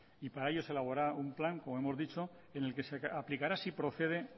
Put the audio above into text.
y para ello se elaborará un plan como hemos dicho en el que se aplicará si procede